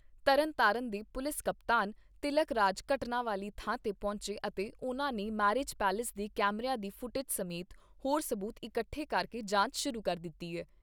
ਤਰਨਤਾਰਨ ਦੇ ਪੁਲਿਸ ਕਪਤਾਨ ਤਿਲਕ ਰਾਜ ਘਟਨਾ ਵਾਲੀ ਥਾਂ ਤੇ ਪਹੁੰਚੇ ਅਤੇ ਉਨ੍ਹਾਂ ਨੇ ਮੈਰਿਜ ਪੈਲੇਸ ਦੇ ਕੈਮਰਿਆਂ ਦੀ ਫੁਟੇਜ ਸਮੇਤ ਹੋਰ ਸਬੂਤ ਇਕੱਠੇ ਕਰਕੇ ਜਾਂਚ ਸ਼ੁਰੂ ਕਰ ਦਿੱਤੀ ਏ।